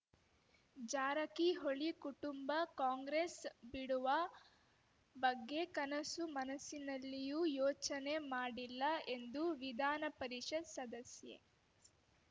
ಜಾರಕಿಹೊಳಿ ಕುಟುಂಬ ಕಾಂಗ್ರೆಸ್‌ ಬಿಡುವ ಬಗ್ಗೆ ಕನಸು ಮನಸ್ಸಿನಲ್ಲಿಯೂ ಯೋಚನೆ ಮಾಡಿಲ್ಲ ಎಂದು ವಿಧಾನ ಪರಿಷತ್‌ ಸದಸ್ಯೆ